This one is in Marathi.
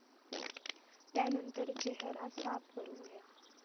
त्यानंतर चेहरा साफ करून घ्या.